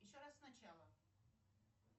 еще раз сначала